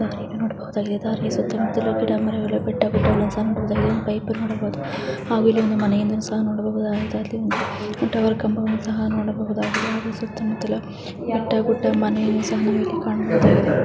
ಈದ್ ನೋಡಬಹುದಾಗಿದೆ ದಾರಿ ಸುತ್ತ ಮುತ್ತಲು ಗಿಡ ಮರಗಳು ಬೆಟ್ಟ ಗುಡ್ಡಗಳು ಪೈಪ್ ನೋಡಬಹುದು. ಹಾಗು ಇಲ್ಲಿ ಒಂದು ಮನೆಯನ್ನು ಸಹಾ ನೋಡಬಹುದು. ಸಹಾ ನೋಡಬಹುದಾಗಿದೆ. ಸುತ್ತ ಮುತ್ತಲು ಬೆಟ್ಟ ಗುಡ್ಡ ಮನೆ ಸಹಾ ಕಾಣಬಹುದು.